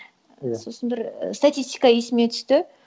иә сосын бір статистика есіме түсті